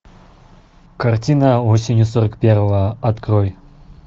картина осенью сорок первого открой